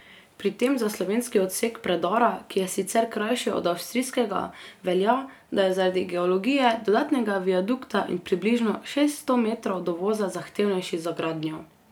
Pri tem za slovenski odsek predora, ki je sicer krajši od avstrijskega, velja, da je zaradi geologije, dodatnega viadukta in približno šeststo metrov dovoza zahtevnejši za gradnjo.